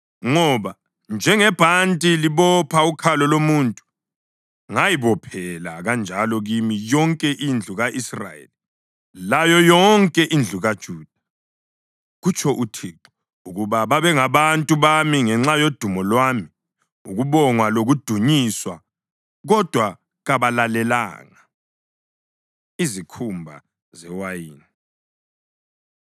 Ngoba njengebhanti libopha ukhalo lomuntu, ngayibophela kanjalo kimi yonke indlu ka-Israyeli layo yonke indlu kaJuda, kutsho uThixo, ukuba babengabantu bami ngenxa yodumo lwami, ukubongwa lokudunyiswa. Kodwa kabalalelanga.’ ” Izikhumba Zewayini